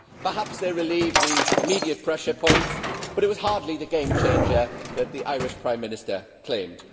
Perhaps they relieve the immediate pressure points but it was hardly the game changer that the Irish Prime Minister claimed.